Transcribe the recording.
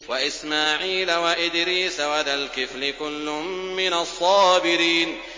وَإِسْمَاعِيلَ وَإِدْرِيسَ وَذَا الْكِفْلِ ۖ كُلٌّ مِّنَ الصَّابِرِينَ